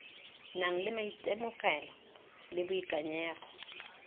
nang le maitemogelo le boikanyego